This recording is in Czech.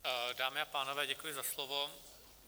Dámy a pánové, děkuji za slovo.